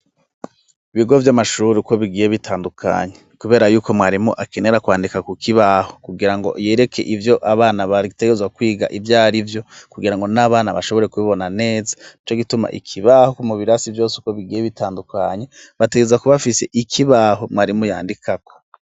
Ibigo vy'amashurri uko bigiye bitandukanyi, kubera yuko mwarimu akenera kwandika ku kibaho kugira ngo yereke ivyo abana bari igitegerzwa kwiga ivyari vyo kugira ngo n'abana bashobore kubibona neza ni co gituma ikibaho ku mubirasi vyose uko bigiye bitandukanye bategeza kubafise ikibaho mwarimu yandikako.